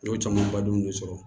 N y'o caman badenw de sɔrɔ